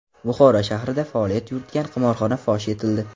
Buxoro shahrida faoliyat yuritgan qimorxona fosh etildi.